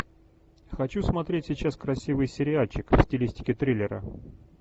хочу смотреть сейчас красивый сериальчик в стилистике триллера